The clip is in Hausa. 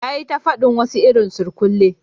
Ya yi ta fadin wasu irin surkulle